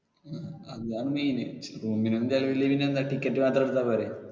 ആ അതാണ് main. room നൊന്നും ചിലവില്ലെങ്കി പിന്നെ എന്താ ticket മാത്രം എടുത്താ പോരെ.